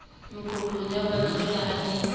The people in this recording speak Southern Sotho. meqoqong ya botswalle ha le